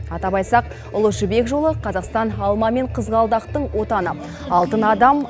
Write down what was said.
атап айтсақ ұлы жібек жолы қазақстан алма мен қызғалдақтың отаны алтын адам